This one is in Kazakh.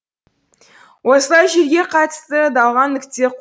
осылай жерге қатысты дауға нүкте